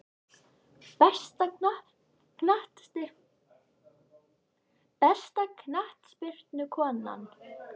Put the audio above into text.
Besta knattspyrnukonan?